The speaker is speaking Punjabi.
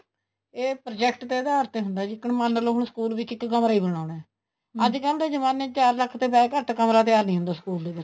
ਇਹ project ਦੇ ਅਧਾਰ ਤੇ ਹੁੰਦਾ ਆ ਜੀ ਮੰਨਲੋ school ਵਿੱਚ ਇੱਕ ਕਮਰਾ ਹੀ ਬਣਾਉਣਾ ਆ ਅੱਜਕਲ ਜਮਾਨੇ ਵਿੱਚ ਚਾਰ ਲੱਖ਼ ਤੋਂ ਵੈਸੇ ਘੱਟ ਕਮਰਾ ਤਿਆਰ ਨਹੀਂ ਹੁੰਦਾ school ਦੇ ਵਿੱਚ